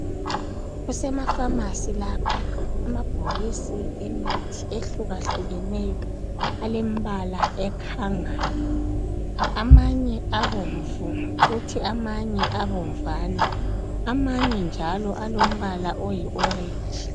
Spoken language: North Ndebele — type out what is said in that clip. Kusemapharmacy lapha . Amabhokisi emithi ehlukahlukeneyo alembala ekhangayo .Amanye abomvu kuthi amanye abomvana .Amanye njalo alombala oyi orentshi.